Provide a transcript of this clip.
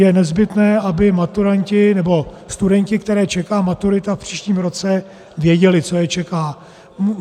Je nezbytné, aby maturanti... nebo studenti, které čeká maturita v příštím roce, věděli, co je čeká.